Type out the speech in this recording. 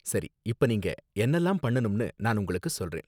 சரி, இப்ப நீங்க என்னலாம் பண்ணனும்னு நான் உங்களுக்கு சொல்றேன்.